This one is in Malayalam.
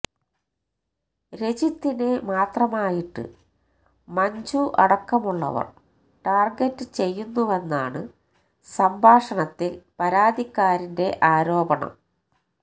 രജിത്തിനെ മാത്രമായിട്ട് മഞ്ജു അടക്കമുള്ളവർ ടാർഗറ്റ് ചെയ്യുന്നുവെന്നാണ് സംഭാഷണത്തിൽ പരാതിക്കാരന്റെ ആരോപണം